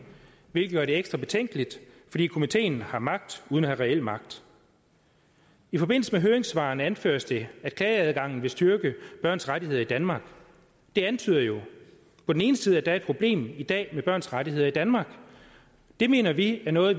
hvilket gør det ekstra betænkeligt fordi komiteen har magt uden at have reel magt i forbindelse med høringssvarene anføres det at klageadgangen vil styrke børns rettigheder i danmark det antyder jo på den ene side at der er et problem i dag med børns rettigheder i danmark det mener vi er noget